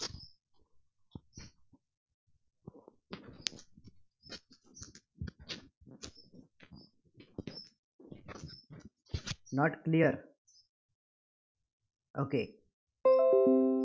not clear okay